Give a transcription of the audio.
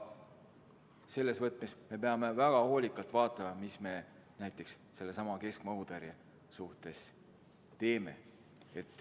Selles võtmes peame väga hoolikalt vaatama, mida me näiteks sellesama keskmaa õhutõrje suhtes teeme.